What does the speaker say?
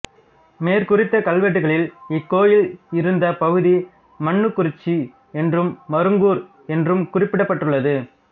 மேற்குறித்த கல்வெட்டுக்களில் இக்கோயில் இருந்த பகுதி மன்னுகுறிச்சி என்றும் மருங்கூர் என்றும் குறிக்கப்பட்டுள்ளது